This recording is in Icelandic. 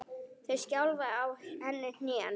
Það skjálfa á henni hnén.